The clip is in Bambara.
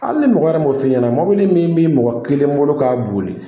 Hali ni mɔgɔ yɛrɛ m'o f'i ɲɛna mobili min bi mɔgɔ kelen bolo k'a boli,